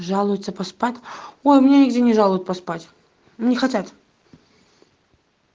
жалуется поспать ой у меня нигде не жалует поспать не хотят